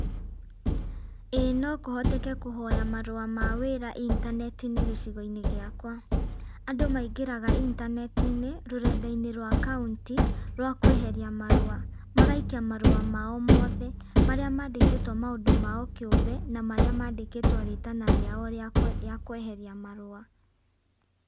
ĩĩ no kũhoteke kũhoya marũa intanetiinĩ gĩcugoinĩ gĩakwa, andũ mengĩraga intanetiinĩ rũrendainĩ rwa kauntĩ rwa kweheria marũa magaikia marũa mao mothe marĩa mandĩkĩtwe maũndũ mao kĩũmbe na marĩa mandĩkĩtwe rĩtana rĩao rĩa kweheria marũa .